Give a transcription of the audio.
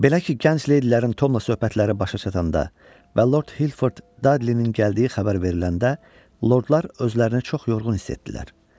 Belə ki, gənc leydilərin Tomla söhbətləri başa çatanda və Lord Hilford Dadlinin gəldiyi xəbər veriləndə, lordlar özlərini çox yorğun hiss etdilər.